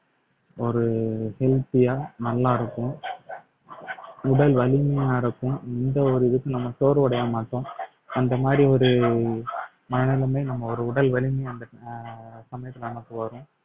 ஒரு healthy யா நல்லா இருக்கும் உடல் வலிமையா இருக்கும் இந்த ஒரு இதுக்கு நம்ம சோர்வடையாம இருக்கும் அந்த மாதிரி ஒரு மனநிலைமை நம்ம ஒரு உடல் வலிமையை அந்த அஹ் சமயத்துல நமக்கு வரும்